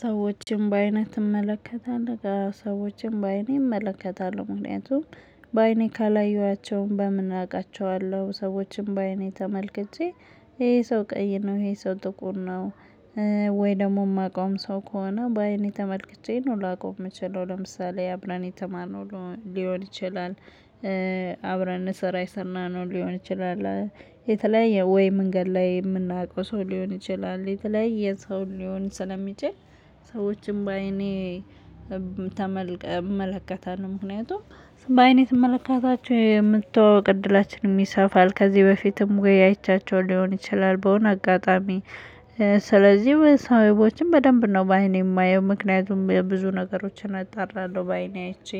ሰዎችን በአይነህ ተመለከታለህ? አዎ ሰዎችን በአይኔ እመለከታለሁ ምክንያቱም በአይኔ ካላየኋቸው በምን አቃቸዋለሁ። ሰዎችን በአይኔ ተመልክቼ ይሄ ሰው ቀይ ነው ይሄ ሰው ጥቁር ነው። ወይ ደግሞ እማቀዉም ሰው ከሆነ በአይኔ ተመልክቼ ነው ላቀው እምችለው። ለምሳሌ አብረን የተማርነው ሊሆን ይችላል። አብረን ስራ የሰናነው ሊሆን ይችላል የተለያየ ወይ መንገድ ላይ የምናውቀው ሰው ሊሆን ይችላል። የተለያየ ሰው ሊሆን ስለሚችል ሰዎችን በአይኔ እመለከታለሁ። ምክንያቱም በአይኔ ስመለከታቸው የምተዋወቅ እድላችንም ይሰፋል። ከዚህ በፊትም ወይ አይቼያቸው ሊሆን ይችላል በሆነ አጋጣሚ። ስለዚህ ሰዎችን በደንብ ነው በአይኔ እማየው ምክንያቱም ብዙ ነገሮችን አጣራለሁ በአይኔ አይቼ።